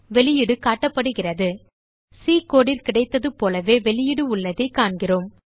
வெளியீடு காட்டப்படுகிறது சி codeல் கிடைத்தது போலவே வெளியீடு உள்ளதைக் காண்கிறோம்